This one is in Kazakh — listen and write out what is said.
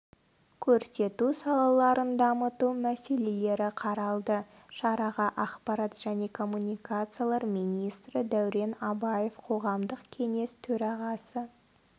көрсету салаларын дамыту мәселелері қаралды шараға ақпарат және коммуникациялар министрі дәурен абаев қоғамдық кеңес төрағасы